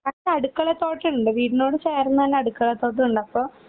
അപ്പ അടുക്കളത്തോട്ടണ്ട് വീടിനോട് ചേർന്ന്തന്നെ അടുക്കളത്തോട്ടഉണ്ട് അപ്പൊ